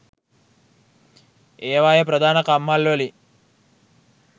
ඒවායේ ප්‍රධාන කම්හල්වලින්